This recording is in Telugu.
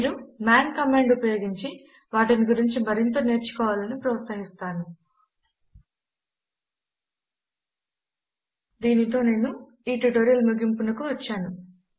మీరు మాన్ కమాండ్ ఉపయోగించి వాటిని గురించి మరింత నేర్చుకోవాలని ప్రోత్సహిస్తను దీనితో నేను ఈ ట్యుటోరియల్ ముగింపుకు వచ్చాను